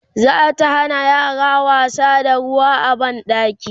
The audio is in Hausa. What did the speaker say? zata Hana yaran wasa da ruwa a banɗaki